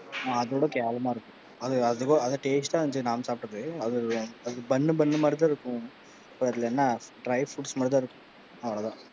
அத விட கேவலமா இருக்கும், அது taste ஆ இருந்துச்சு நாம சாப்பிட்டது, அது பன்னு பன்னு மாரி தான் இருக்கும் என்ன dry fruits மட்டும் தான் இருக்கும் அவ்வளவு தான்.